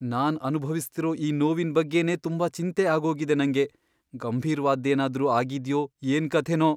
ನಾನ್ ಅನುಭವಿಸ್ತಿರೋ ಈ ನೋವಿನ್ ಬಗ್ಗೆನೇ ತುಂಬಾ ಚಿಂತೆ ಆಗೋಗಿದೆ ನಂಗೆ. ಗಂಭೀರ್ವಾದ್ದೇನಾದ್ರೂ ಆಗಿದ್ಯೋ ಏನ್ಕಥೆನೋ!